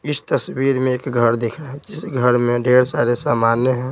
इस तस्वीर में एक घर दिख इस घर में ढेर सारे सामान्य हैं।